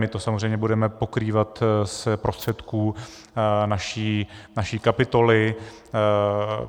My to samozřejmě budeme pokrývat z prostředků naší kapitoly.